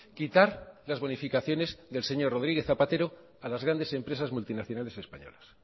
quitar las bonificaciones del señor rodríguez zapatero a las grandes empresas multinacionales españolas